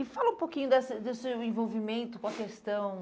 E fala um pouquinho dessa desse seu envolvimento com a questão...